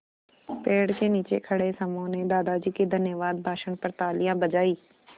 पेड़ के नीचे खड़े समूह ने दादाजी के धन्यवाद भाषण पर तालियाँ बजाईं